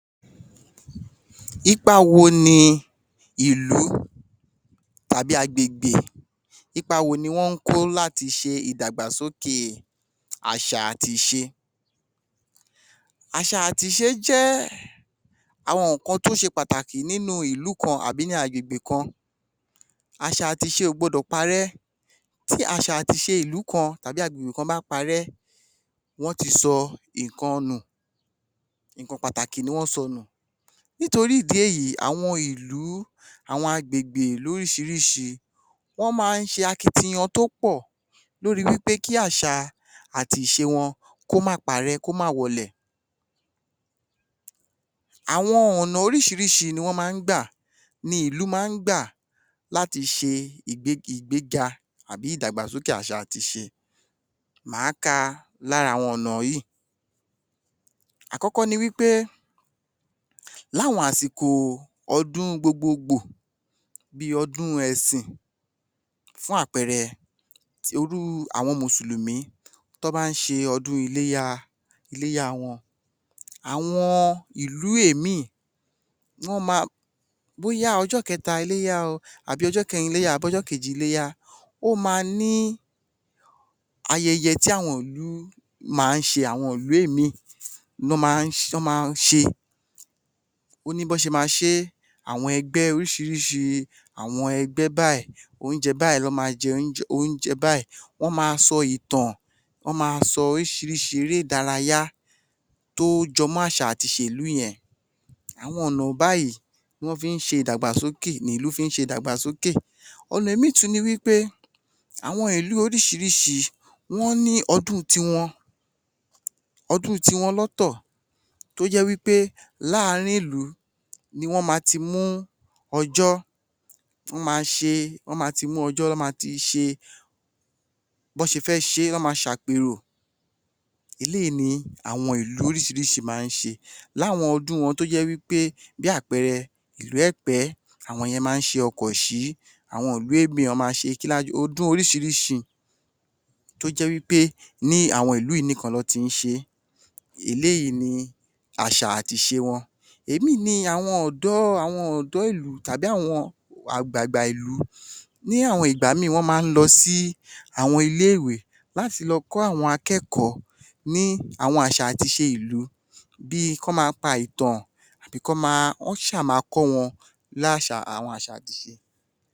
Ipa wo ni ìlú tàbí agbègbè, ipa wo ni wọ́n kó láti ṣe ìdàgbàsóké àṣà àti ìṣe? Àṣà àti ìṣe jẹ́ àwọn ǹnkan tó ṣe pàtàkì nínú ìlú kan tàbí nínú agbègbè kan, àṣà àti ìṣe ò gbọdọ̀ parẹ́. Tí àṣà àti ìṣe ìlú kan, tàbí agbègbè kan bá parẹ́, wọ́n ti sọ ǹnkan nù, ǹnkan pàtàkì ni wọ́n sọnù. Nítorí ìdí èyí, àwọn ìlú, àwọn agbègbè lóríṣìíríṣìí. Wọ́n máa ń ṣe akitiyan tó pọ̀ lórí pé kí àṣà àti ìṣe wọn, kó máa parẹ́, kó máa wọlẹ̀, àwọn ọ̀nà oríṣìíríṣìí ni wọ́n máa ń gbà, ni ìlú máa ń gbà láti ṣe ìgbéga àbí ìdàgbàsókè àṣà àti ìṣe. Máa ka lára àwọn ọ̀nà yìí, àkọ́kọ́ ni wí pé, láwọn àsìkò ọdún gbogbogbò, bí ọdún ẹ̀sìn, fún àpẹẹrẹ, ti irú àwọn mùsùlùmí, tọ́ bá ń ṣe ọdún iléyá, iléyá wọn, àwọn ìlú ìmí, wọ́n máa, bóyá ọjọ́ kẹta iléyá o àbí ọjọ́ kẹrin iléyá àbí ọjọ́ kejì iléyá, ó máa ní ayẹyẹ tí àwọn ìlú máa ń ṣe, àwọn ìlú ìmí, lọ́ máá ṣe, ó ní bọ́ ṣe máa ṣé, àwọn ẹgbẹ́ lóríṣìíríṣìí, ẹgbẹ́ báyìí, oúnjẹ báyìí, oúnjẹ báyìí, wọ́n máa sọ ìtàn, wọ́n máa sọ oríṣìírísìí eré-ìdárayá tó jẹmọ́ àṣà àti ìṣe ìlú yẹn, àwọn ọ̀nà báyìí ni wọ́n fi ń ṣe ìdàgbàsókè, ni ìlú fi ń ṣe ìdàgbàsókè. ọ̀nà ìmí tún ni wí pé, àwọn ìlú oríṣìíríṣìí ní ọdún ti wọn, ọdún ti wọn lọ́tọ̀ tó jẹ́ wí pé láàrin ìlú ni wọ́n máa ti mú ọjọ́, wọ́n máa ṣe, wọ́n máa ti mú ọjọ́, wọ́n máa ti ṣe bọ́ ṣe fẹ́ ṣe é, wọ́n máa ṣàpèrò, bẹ́ẹ̀ ni àwọn ìlú lóríṣìíríṣìí máa ń ṣe, láwọn ọdún wọn tó jẹ́ wí pé, bí àpẹẹrẹ, ìlú ẹ̀pẹ́, àwọn ìyẹn máa ń ṣe ọkọ̀ṣí, àwọn ìlú ìmí, wọ́n máa ṣe ọdún oríṣìíríṣìí tó jẹ́ wí pé ní àwọn ìlú yìí nìkan lọ́ ti ń ṣe, eléyìí ni àṣà àti ìṣe wọn, ìmí ni àwọn ọ̀dọ́, àwọn ọ̀dọ́ ìlú tàbí àwọn àgbàgbà ìlú, ní àwọn ìgbà ìmí, wọ́n máa ń lọ sí àwọn ilé-ìwé láti lọ kọ́ àwọn akẹ́kọ̀ọ́ ní àwọn àṣà àti ìṣe ìlú bí i kọ́ máa pa ìtàn, àbí kọ́ máa, wọ́n ṣa máa kọ́ wọn láṣà, àwọn àṣà àti ìṣe.